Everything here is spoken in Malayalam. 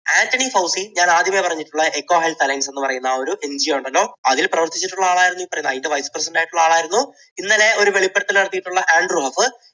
ആൻറണി ഫൗസി ഞാൻ ആദ്യമേ പറഞ്ഞിട്ടുള്ള എക്കോ ഹെൽത്ത് അലയൻസ് എന്ന് പറഞ്ഞിട്ടുള്ള ഒരു NGO ഉണ്ടല്ലോ, അതിൽ പ്രവർത്തിച്ചിട്ടുള്ള ആളായിരുന്നു. അതിൻറെ vice president ആയിട്ടുള്ള ആളായിരുന്നു. ഇന്നലെ ഒരു വെളിപ്പെടുത്തൽ നടത്തിയിട്ടുള്ള ആൻഡ്രൂ ഹഫ്